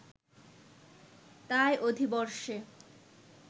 তাই অধিবর্ষে